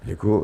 Děkuji.